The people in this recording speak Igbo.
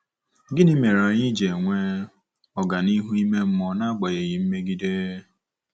Gịnị mere anyị ji enwe ọganihu ime mmụọ nagbanyeghị mmegide?